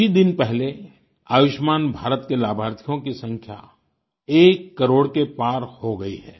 कुछ ही दिन पहले आयुष्मान भारत के लाभार्थियों की संख्या एक करोड़ के पार हो गई है